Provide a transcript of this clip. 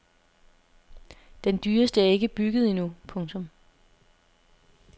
Den dyreste er ikke bygget endnu. punktum